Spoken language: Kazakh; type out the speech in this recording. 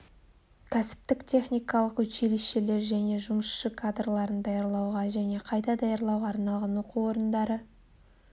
кәсіптік техникалық училищелер және жұмысшы кадрларын даярлауға және қайта даярлауға арналған оқу орындары